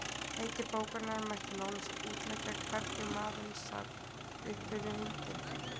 Heiti bókarinnar mætti nánast útleggja Hvernig maðurinn sat uppi með hundinn